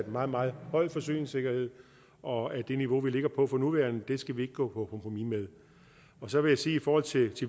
meget meget høj forsyningssikkerhed og at det niveau vi ligger på for nuværende skal vi ikke gå på kompromis med så vil jeg sige i forhold til